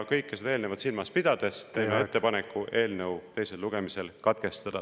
Kõike eelnevat silmas pidades teeme ettepaneku eelnõu teine lugemine katkestada.